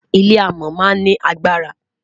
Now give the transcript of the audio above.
ilé amò má n ni agbara